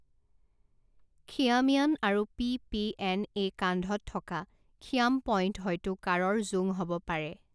খিয়ামিয়ান আৰু P P N A কান্ধত থকা খিয়াম পইণ্ট হয়তো কাঁড়ৰ জোং হ'ব পাৰে।